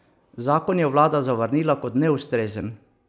Zakon je vlada zavrnila kot neustrezen.